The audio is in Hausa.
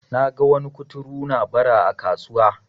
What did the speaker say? naga wani kuturu na Bara a kasuwa